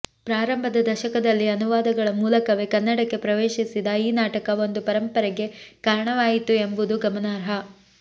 ಪ್ರಾರಂಭದ ದಶಕದಲ್ಲಿ ಅನುವಾದಗಳ ಮೂಲಕವೇ ಕನ್ನಡಕ್ಕೆ ಪ್ರವೇಶಿಸಿದ ಈ ನಾಟಕ ಒಂದು ಪರಂಪರೆಗೆ ಕಾರಣವಾಯಿತು ಎಂಬುದು ಗಮನಾರ್ಹ